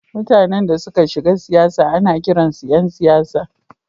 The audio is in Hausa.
Mutanen da suka shiga siyasa ana kiransu ’yan siyasa.